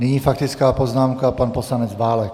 Nyní faktická poznámka - pan poslanec Válek.